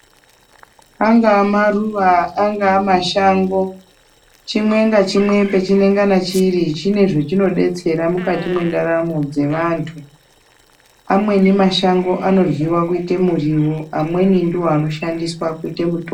Angaa maruwa angaa mashango chimwe nechimwe pechinangana chiri chine zvachinodetsera mukati mwendaramo dzevanthu amweni mashango anoryiwa kuita muriwo amweni ndiwo anoshandiswa kuite mitombo.